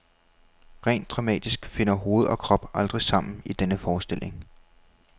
Rent dramatisk finder hoved og krop aldrig sammen i denne forestilling.